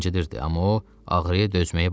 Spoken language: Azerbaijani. amma o ağrıya dözməyi bacarırdı.